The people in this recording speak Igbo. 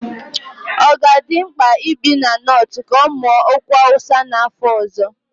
Ọ ga-adị mkpa ibi na Nortu ka ọ mụọ okwu Hausa n'afọ ọzọ?